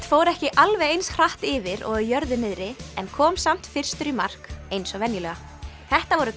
fór ekki alveg eins hratt yfir og á jörðu niðri en kom samt fyrstur í mark eins og venjulega þetta voru